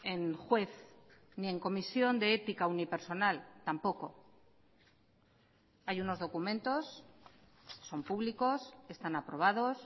en juez ni en comisión de ética unipersonal tampoco hay unos documentos son públicos están aprobados